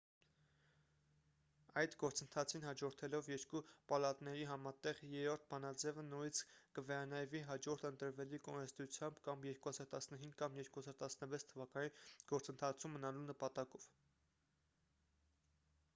այդ գործընթացին հաջորդելով երկու պալատների համատեղ 3-րդ բանաձևը նորից կվերանայվի հաջորդ ընտրվելիք օրենսդրությամբ կամ 2015 կամ 2016 թվականին գործընթացում մնալու նպատակով